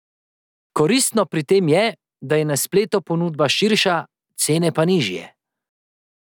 Koristno pri tem je, da je na spletu ponudba širša, cene pa nižje.